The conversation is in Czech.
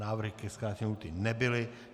Návrhy ke zkrácení lhůty nebyly.